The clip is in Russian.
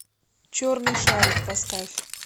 черный шарик поставь